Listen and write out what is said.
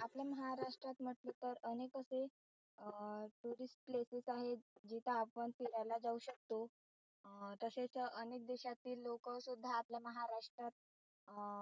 आपल्या महाराष्ट्रात म्हटलं तर अनेक असे अं tourist places आहेत जिथं आपण फिरायला जाऊ शकतो अं तसेच अनेक देशातील लोक सुद्धा आपल्या महाराष्ट्रात अं